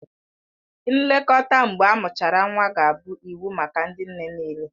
Nlekọta mgbe amụchara nwa ga-abụ iwu maka ndị nne nịịle